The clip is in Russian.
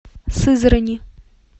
сызрани